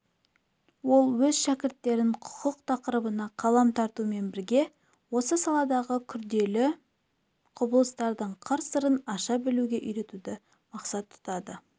ол өз шәкірттерін құқық тақырыбына қалам тартумен бірге осы саладағы күрделі құбылыстардың қыр-сырын аша білуге үйретуді мақсат тұтады